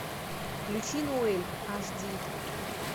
включи ноэль аш ди